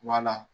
Wala